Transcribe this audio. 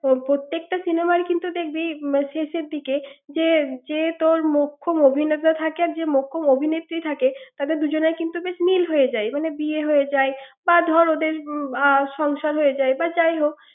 ওর প্রত্যেকটা cinema কিন্তু দেখবি শেষের দিকে যে মোক্ষম অভিনেতা থাকে যে মুক্ষম অভিনেত্রী থাকে কিন্তু বেশ মিল হয়ে যায় ওই বিয়ে হয়ে যায় বা ধর ওদের সংসার হয়ে যায় বা যাই হোক ৷